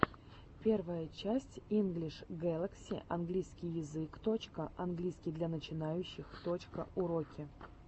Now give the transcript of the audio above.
первая часть инглиш гэлакси английский язык точка английский для начинающих точка уроки английского языка